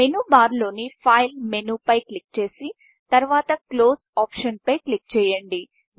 menu bar లోని Fileఫైల్మెను పై క్లిక్ చేసి తరువాత Closeక్లోస్ ఆప్షన్ పై క్లిక్ చేయండి